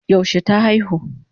Yaushe ta aihu?